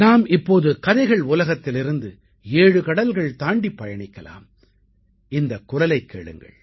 நாம இப்ப கதைகள் உலகத்திலேர்ந்து ஏழு கடல்கள் தாண்டிப் பயணிக்கலாம் இந்தக் குரலைக் கேளுங்க